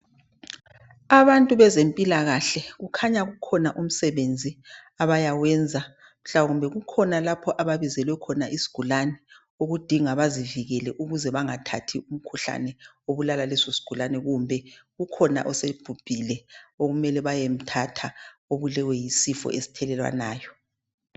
Abantu bezempilakahle khanya kukhona umsebenzi abeyewenza kumbe kukhona lapho ababizelwe khona isigulane okudinga bazivikele ukuthi bengatholi umkhuhlane obulala leso sigulane. Kungaba khona osebhubhile obulewe yisifo esithelelwanayo.